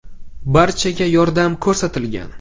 Barchaga yordam ko‘rsatilgan.